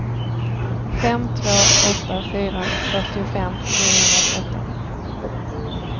fem två åtta fyra fyrtiofem niohundratretton